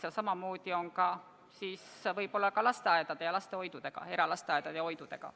Ja samamoodi võib ehk olla ka eralasteaedade ja -hoidudega.